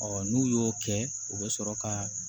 Ɔ n'u y'o kɛ u bɛ sɔrɔ ka